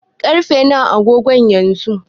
Ƙarfe nawa a agogonka yanzu?